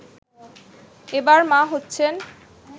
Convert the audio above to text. এবার মা হচ্ছেন